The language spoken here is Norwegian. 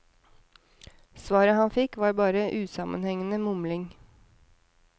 Svaret han fikk var bare usammenhengende mumling.